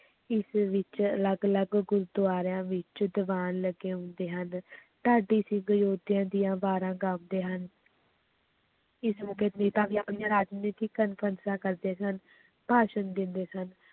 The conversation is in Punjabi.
ਈਸਵੀ ਵਿੱਚ ਅਲੱਗ ਅਲੱਗ ਗੁਰੂਦੁਆਰਿਆਂ ਵਿੱਚ ਦੀਵਾਨ ਲੱਗੇ ਹੁੰਦੇ ਹਨ ਢਾਡੀ ਸਿੰਘ ਯੋਧਿਆਂ ਦੀਆਂ ਵਾਰਾਂ ਗਾਉਂਦੇ ਹਨ ਇਸ ਮੌਕੇ ਵੀ ਆਪਣੀਆਂ ਰਾਜਨੀਤਕ ਕਾਨਫ਼ਰੰਸਾਂ ਕਰਦੇ ਸਨ, ਭਾਸ਼ਣ ਦਿੰਦੇ ਸਨ।